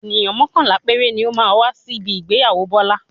Ènìyàn mọ́kànlá péré ni ó máa wá síbi ìgbéyàwó Bọ́lá.